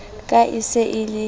ka e se e le